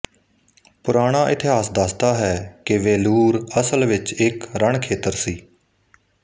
ਪੁਰਾਣਾ ਇਤਿਹਾਸ ਦੱਸਦਾ ਹੈ ਕਿ ਵੇਲੂਰ ਅਸਲ ਵਿੱਚ ਇੱਕ ਰਣਖੇਤਰ ਸੀ